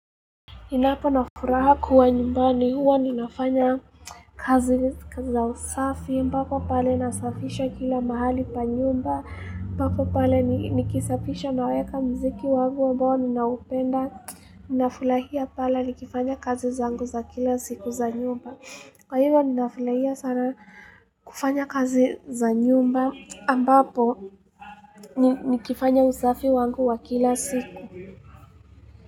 Ninapo na furaha kuwa nyumbani huwa ninafanya kazi za usafi ambapo pale nasafisha kila mahali pa nyumba, ambapo pale nikisafisha naweka mziki wangu ambao ninaupenda, ninafurahia pale nikifanya kazi zangu za kila siku za nyumba. Kwa hivyo ninafurahia sana kufanya kazi za nyumba ambapo nikifanya usafi wangu wa kila siku.